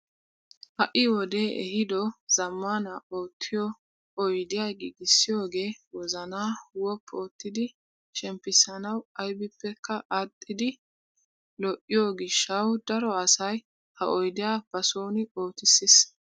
Ha'i wodee ehido zammaana uttiyoo oydiyaa giigissiyoogee wozanaa woppu oottidi shemppisanawu aybippekka adhdhidi lo"iyoo gishshawu daro asay ha oydiyaa ba soni oottisis.